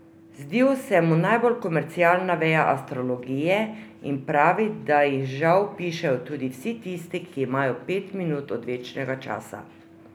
Zdijo se mu najbolj komercialna veja astrologije in pravi, da jih žal pišejo tudi vsi tisti, ki imajo pet minut odvečnega časa.